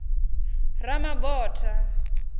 ramabotha